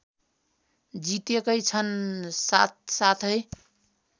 जितेकै छन् साथसाथै